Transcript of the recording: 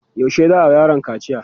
yaushe za'a wa yaron kaciya?